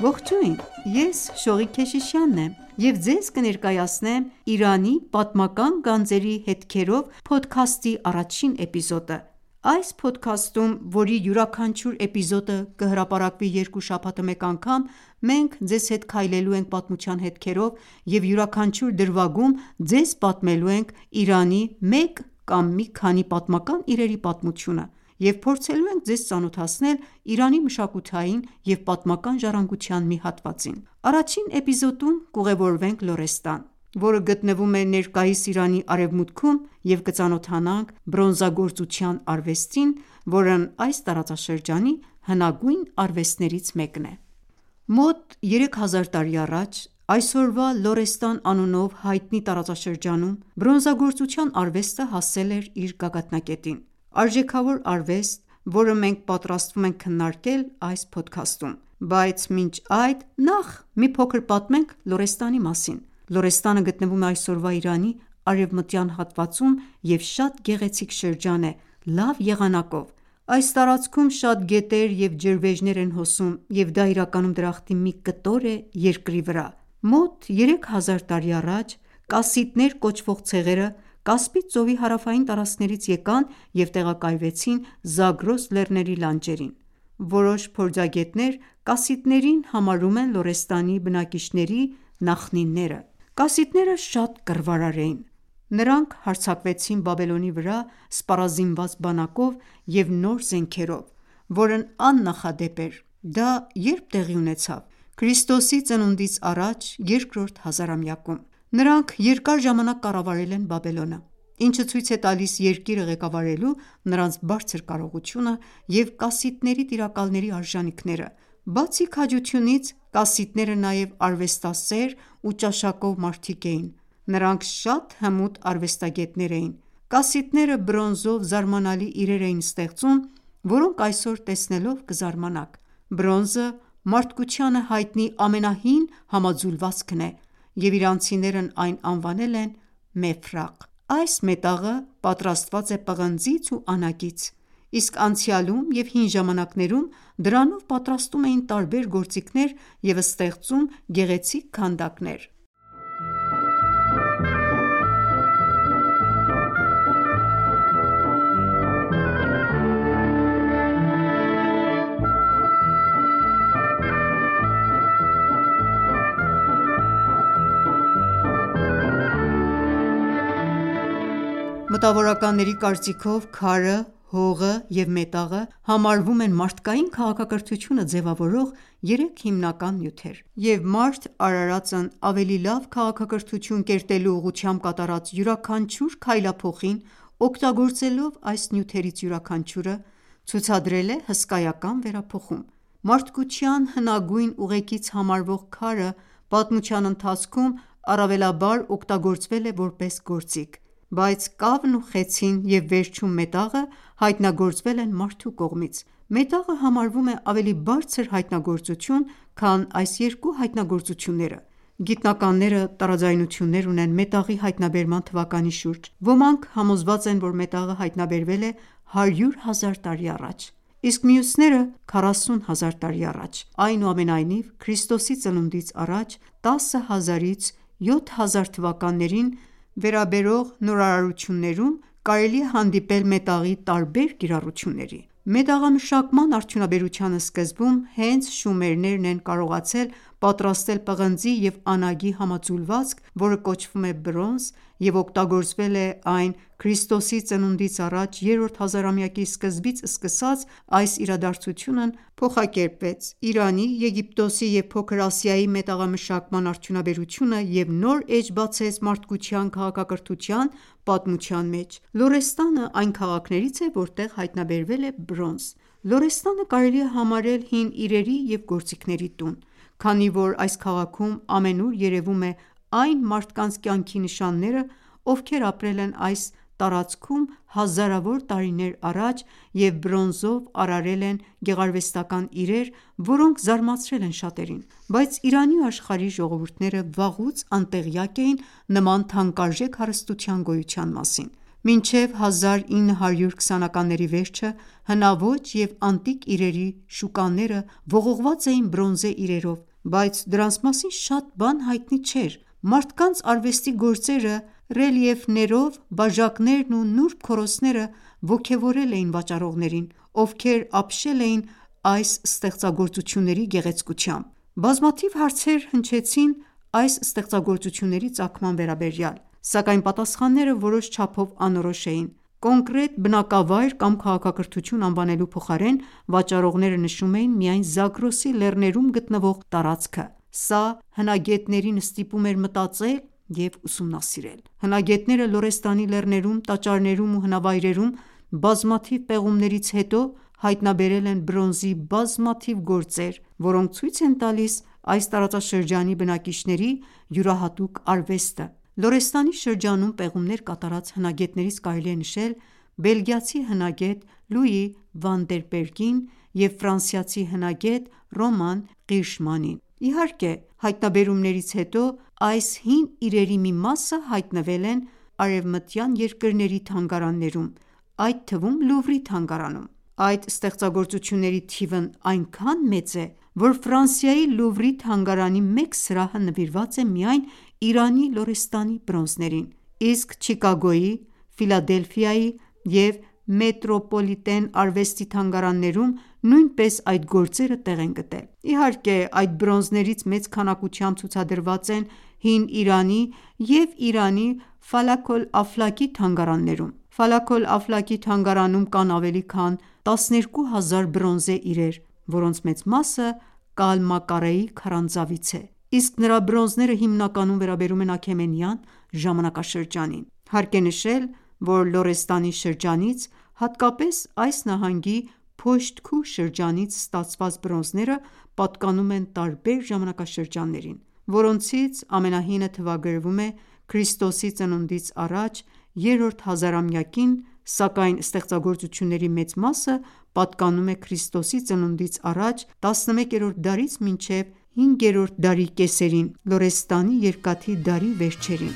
Ողջույն, ես ․․․․․․․․․․․ եմ և ձեզ կներկայացնեմ «Իրանի պատմական գանձերի հետքերով» փոդքասթի առաջին էպիզոդը։ Այս փոդքաստում, որի յուրաքանչյուր էպիզոդը կհրապարակվի երկու շաբաթը մեկ անգամ, մենք ձեզ հետ քայլելու ենք պատմության հետքերով և յուրաքանչյուր էպիզոդում ձեզ պատմելու ենք Իրանի մեկ կամ մի քանի պատմական իրերի պատմությունը և փորձելու ենք ձեզ ծանոթացնել Իրանի մշակութային և պատմական ժառանգության մի հատվածին։ Առաջին դրվագում կուղևորվենք Լորեստան, որը գտնվում է ներկայիս Իրանի արևմուտքում, և կծանոթանանք բրոնզագործության արվեստին, որն այս տարածաշրջանի հնագույն արվեստներից մեկն է։ Մոտ երեք հազար տարի առաջ, այսօրվա Լորեստան անունով հայտնի տարածաշրջանում, բրոնզագործության արվեստը հասել էր իր գագաթնակետին: Արժեքավոր արվեստ, որը մենք պատրաստվում ենք քննարկել այս փոդքաստում: Բայց մինչ այդ նախ մի փոքր պատմենք Լորեստանի մասին։ Լորեստանը գտնվում է այսօրվա Իրանի արևմտյան հատվածում և շատ գեղեցիկ շրջան է՝ լավ եղանակով: Այս տարածքում շատ գետեր և ջրվեժներ են հոսում, և դա իրականում դրախտի մի կտոր է երկրի վրա: Մոտ երեք հազար տարի առաջ «Կասիտներ» կոչվող ցեղերը «Կասպից ծովի» հարավային տարածքներից եկան և տեղակայվեցին Զագրոս լեռների լանջերին։ Որոշ փորձագետներ Կասիտներին համարում են Լորեստանի բնակիչների նախնիները։ Կասիտները շատ կռվարար էին, նրանք հարձակվեցին Բաբելոնի վրա սպառազինված բանակով և նոր զենքերով, որն աննախադեպ էր: Դա ե՞րբ տեղի ունեցավ։ Ք.ծ.ա. երկրորդ հազարամյակում։ Նրանք երկար ժամանակ կառավարել են Բաբելոնը, ինչը ցույց է տալիս երկիրը ղեկավարելու նրանց բարձր կարողությունը և կասիտների տիրակալների արժանիքները։ Բացի քաջությունից, կասիտները նաև արվեստասեր ու ճաշակով մարդիկ էին։ Նրանք շատ հմուտ արվեստագետներ էին։ Կասիտները բրոնզով զարմանալի իրեր էին ստեղծում, որոնք այսօր տեսնելով կզարմանաք։ Բրոնզը մարդկությանը հայտնի ամենահին համաձուլվածքն է, և իրանցիներն այն անվանել են մեֆրաղ: Այս մետաղը պատրաստված է պղնձից ու անագից, իսկ անցյալում և հին ժամանակներում դրանով պատրաստում էին տարբեր գործիքներ և ստեղծում գեղեցիկ քանդակներ։ Մտավորականների կարծիքով «Քարը», «հողը» և «մետաղը» համարվում են մարդկային քաղաքակրթությունը ձևավորող երեք հիմնական նյութերը, և մարդ արարածն ավելի լավ քաղաքակրթություն կերտելու ուղղությամբ կատարած յուրաքանչյուր քայլափոխին օգտագործելով այս նյութերից յուրաքանչյուրը, ցուցադրել է հսկայական վերափոխում: Մարդկության հնագույն ուղեկից համարվող քարը պատմության ընթացքում առավելաբար օգտագործվել է որպես գործիք: Բայց կավն ու խեցին և վերջում մետաղը հայտնագործվել են մարդու կողմից: Մետաղը համարվում է ավելի բարձր հայտնագործություն քան այս երկու հայտնագործությունները: Գիտնականները տարաձայնություններ ունեն մետաղի հայտնաբերման թվականի շուրջ: Ոմանք համոզված են, որ մետաղը հայտնաբերվել է 100,000 տարի առաջ, իսկ մյուսները՝ 40,000 տարի առաջ: Այնուամենայնիվ, Ք․ծ․ա 10,000-ից 7,000 թթ․-ին վերաբերող նորարարություններում կարելի է հանդիպել մետաղի տարբեր կիրառությունների։ Մետաղամշակման արդյունաբերության սկզբում հենց «շումերներն» են կարողացել պատրաստել պղնձի և անագի համաձուլվածք, որը կոչվում է «բրոնզ» և օգտագործվել է այն։ Ք․ծ․ա 3-րդ հազարամյակի սկզբից սկսած այս իրադարձությունն արագորեն փոխակերպեց Իրանի, Եգիպտոսի և Փոքր Ասիայի մետաղամշակման արդյունաբերությունը և նոր էջ բացեց մարդկության քաղաքակրթության պատմության մեջ։ «Լորեստանը» այն քաղաքներից է, որտեղ հայտնաբերվել է բրոնզ։ Լորեստանը կարելի է համարել հին իրերի և գործիքների տուն, քանի որ այս քաղաքում ամենուր երևում է այն մարդկանց կյանքի նշանները, ովքեր ապրել են այս տարածքում հազարավոր տարիներ առաջ և բրոնզով արարել են գեղարվեստական իրեր, որոնք զարմացրել են շատերին: Բայց Իրանի ու աշխարհի ժողովուրդները վաղուց անտեղյակ էին նման թանկարժեք հարստության գոյության մասին։ Մինչև 1920-ականների վերջը հնաոճ և անտիկ իրերի շուկաները ողողված էին բրոնզե իրերով, բայց դրանց մասին շատ բան հայտնի չէր։ Մարդկանց արվեստի գործերը, ռելիեֆներով բաժակներն ու նուրբ քորոցները ոգևորել էին վաճառողներին, ովքեր ապշել էին այս ստեղծագործությունների գեղեցկությամբ։ Բազմաթիվ հարցեր հնչեցին այս ստեղծագործությունների ծագման վերաբերյալ, սակայն պատասխանները որոշ չափով անորոշ էին։ Կոնկրետ բնակավայր կամ քաղաքակրթություն անվանելու փոխարեն վաճառողները նշում էին միայն Զագրոսի լեռներում գտնվող տարածքը։ Սա հնագետներին ստիպում էր մտածել, և ուսումնասիրել: Հնագետները Լորեստանի լեռներում, տաճարներում ու հնավայրերում բազմաթիվ պեղումներից հետո հայտնաբերել են բրոնզի բազմաթիվ գործեր, որոնք ցույց են տալիս այս տարածաշրջանի բնակիչների յուրահատուկ արվեստը։ Լորեստանի շրջանում պեղումներ կատարած հնագետներից կարելի է նշել բելգիացի հնագետ «Լուի Վանդենբերգին» և ֆրանսիացի հնագետ «Ռոման Ղիրշմանին»։ Իհարկե հայտնաբերումներից հետո, այս հին իրերի մի մասը հայտնվել են արևմտյան թանգարաններում, այդ թվում Լուվրի թանգարանում: Այդ ստեղծագործությունների թիվն այնքան մեծ է, որ Ֆրանսիայի Լուվրի թանգարանի մեկ սրահը նվիրված է միայն Իրանի Լորեստանի բրոնզերին, իսկ Չիկագոյի, Ֆիլադելֆիայի և Մետրոպոլիտեն արվեստի թանգարաններում նույնպես այդ գործերը տեղ են գտել։ Իհարկե, այդ բրոնզներից մեծ քանակությամբ ցուցադրված են Հին Իրանի և Իրանի Ֆալակ-օլ-Աֆլակի թանգարաններում: «Ֆալակ-օլ-Աֆլակի» թանգարանում կան ավելի քան 12000 բրոնզե իրեր, որոնց մեծ մասը Կալմակարեի քարանձավից է, իսկ նրա բրոնզները հիմնականում վերաբերում են Աքեմենյան ժամանակաշրջանին։ Հարկ է նշել, որ Լորեստանի շրջանից, հատկապես այս նահանգի Փոշթ-Քուհ շրջանից ստացված բրոնզները պատկանում են տարբեր ժամանակաշրջաններին, որոնցից ամենահինը թվագրվում է մ.թ.ա. 3-րդ հազարամյակին, սակայն ստեղծագործությունների մեծ մասը պատկանում է Ք․ծ.ա. 11-րդ դարից մինչև 7-րդ դարի կեսերին (Լորեստանի երկաթի դարի վերջերին):